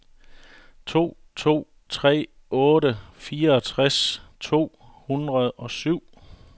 to to tre otte fireogtres to hundrede og syv